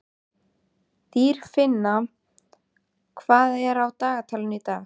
Dýrfinna, hvað er á dagatalinu í dag?